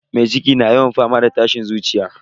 Mai ciki na yawan fama da tashin zuciya.